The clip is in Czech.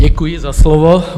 Děkuji za slovo.